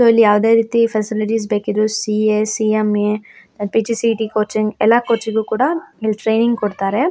So ಇಲ್ಲಿ ಯಾವುದೇ ರೀತಿ ಫೆಸಿಲಿಟೀಸ್ ಬೇಕಿದ್ರು ಸಿ.ಅ ಸಿ.ಎಮ್.ಎ. ಪಿ.ಜಿ.ಡಿ.ಸಿ.ಎ ಕೋಚಿಂಗ್ ಎಲ್ಲ ಕೋಚಿಗು ಕೂಡ ಇಲ್ಲಿ ಟ್ರೈನಿಂಗ್ ಕೊಡ್ತಾರೆ.